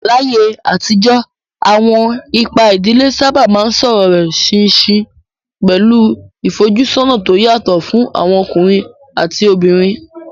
Láyé àtijọ́, àwọn ipa ìdílé sábà máa ń sọ̀rọ̀ rẹ̀ ṣinṣin, pẹ̀lú ìfojúsọ́nà tó yàtọ̀ fún àwọn ọkùnrin àti obìnrin.